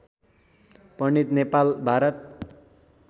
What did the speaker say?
Pandit Nepal Bharat